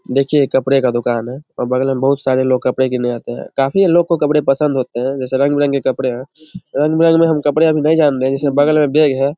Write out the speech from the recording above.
देखिये ये कपड़े का दुकान है और बगल मे बहुत सारे लोग कपड़े के लिए आते है काफी लोग को कपड़े पसंद होते है जैसे रंग बिरंगे कपड़े है रंग बिरंगे कपड़े बगल मे बैग है।